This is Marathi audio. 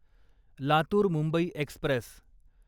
लातूर मुंबई एक्स्प्रेस